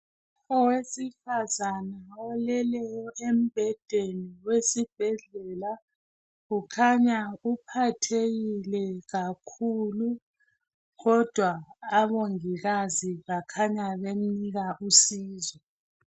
Owesifazane oleleyo embhedeni wesibhedlela ukhanya uphathekile kakhulu kodwa omongikazi bakhanya bemnika usizo.